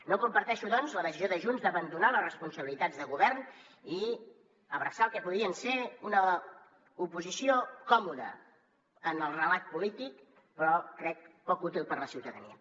no comparteixo doncs la decisió de junts d’abandonar les responsabilitats de govern i abraçar el que podia ser una oposició còmoda en el relat polític però crec que poc útil per a la ciutadania